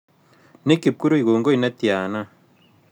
Nick kipkurui kogoi netiana